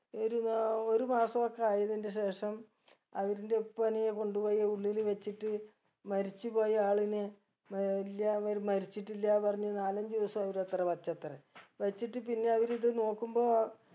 ഒരു നാ ഒര് മാസൊ ഒക്കെ ആയതിന്ററെ ശേഷം അവരിന്റെ ഉപ്പനെയും കൊണ്ട് പോയി ഉള്ളില് വെച്ചിട്ട് മരിച്ച് പോയ ആളിനെ മ ഏർ ഇല്ല്യ ആവര് മരിച്ചിട്ടില്ല പറഞ്ഞ് നാലഞ്ചു ദിവസം അവര് അത്ര വച്ചത്രെ വച്ചിട്ട് പിന്നെ അവര് ഇത് നോക്കുമ്പോ